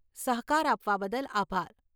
સહકાર આપવા બદલ આભાર.